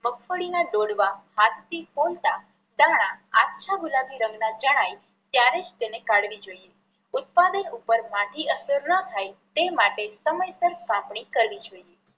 મગફળી ના ડોડવા હાથ થી ફોલતા દાણા આછા ગુલાબી રંગ ના જણાય ત્યારે જ તેને કાઢવી જોઈએ. ઉત્પાદન ઉપર માઠી અસર ના થાય તે માટે સમયસર કાપણી કરવી જોઈએ.